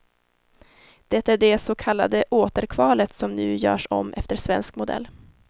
Det är det så kallade återkvalet som nu görs om efter svensk modell.